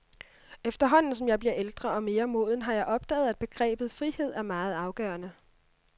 Efterhånden som jeg bliver ældre og mere moden, har jeg opdaget, at begrebet frihed er meget afgørende.